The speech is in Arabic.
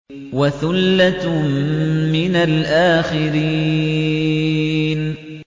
وَثُلَّةٌ مِّنَ الْآخِرِينَ